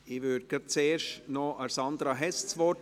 Ich gebe zuerst Sandra Hess das Wort.